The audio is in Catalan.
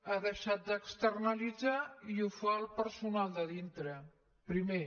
ha deixat d’externalitzar i ho fa el personal de dintre primer